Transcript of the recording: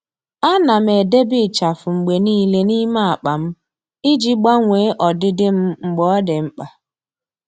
À nà m edèbè ịchafụ mgbe nìile n’ímé ákpá m iji gbanwee ọdịdị m mgbe ọ́ dị́ mkpa.